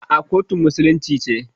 A'a, kotun musulunci ce.